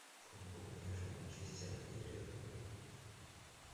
футбол между манчестером и ливерпулем